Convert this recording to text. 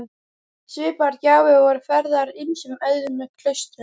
Svipaðar gjafir voru færðar ýmsum öðrum klaustrum.